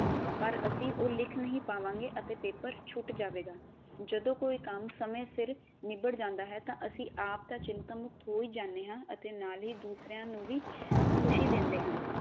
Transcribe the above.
ਪਰ ਅਸੀਂ ਉਹ ਲਿਖ ਨਹੀ ਪਾਵਾਗੇ ਤੇ ਪੈਪਰ ਛੁਟ ਜਾਵੇਗਾ। ਜਦੋ ਕੋਈ ਕੰਮ ਸਮੇ ਸਿਰ ਨਿਬੜ ਜਾਂਦਾ ਹੈ ਤਾਂ ਅਸੀਂ ਆਪ ਤਾਂ ਚਿੰਤਾ ਮੁਕਤ ਹੋ ਹੀ ਜਾਂਦੇ ਹਾਂ ਤੇ ਨਾਲ ਹੀ ਦੂਸਰਿਆਂ ਨੂੰ ਵੀ ਖੁਸ਼ੀ ਦਿੰਦੇ ਹਾਂ।